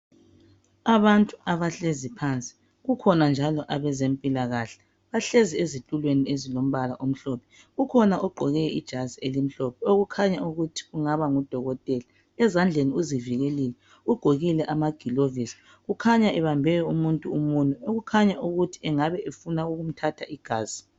Abantu abahlezi phansi kukhona njalo abeze mpilakahle bahlezi ezitulweni ezilombala omhlophe, kukhona ogqoke ijazi elimhlophe okukhanya ukuthi kungaba ngudokotela. Ezandleni uzivikelile ugqokile amagilovisi kukhanya ebambe umuntu umunwe okukhanya ukuthi engabe efuna ukumthatha igazi.